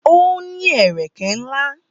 Ó ní ẹ̀rẹ̀kẹ́ ńlá